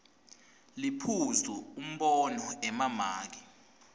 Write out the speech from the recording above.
liphuzu umbono emamaki